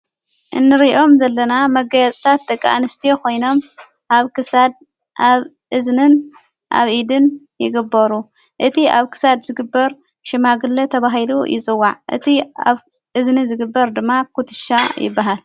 እንርእዮም ዘለና መጋያጽታት ተቃኣንስቲ ኾይኖም ኣብ ክሳድ ኣብ እዝንን ኣብ ኢድን ይግበሩ እቲ ኣብ ክሳድ ዝግበር ሽማግለ ተብሂሉ ይዘዋዕ እቲ ኣብ እዝኒ ዝግበር ድማ ዂትሻ ይበሃል።